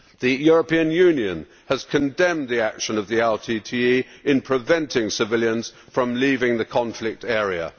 The European Union has condemned the action of the LTTE in preventing civilians from leaving the conflict area.